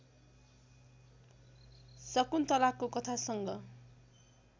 शकुन्तलाको कथासँग